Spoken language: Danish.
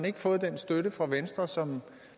ikke fået den støtte fra venstre som